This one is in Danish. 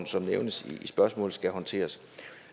som nævnes i spørgsmålet skal håndteres